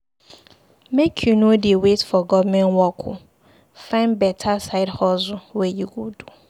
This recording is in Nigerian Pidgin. Make you no dey wait for government work o, find beta side hustle wey you go do.